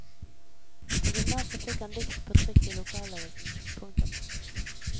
På gymnaset fikk han dikt på trykk i lokalavisen. punktum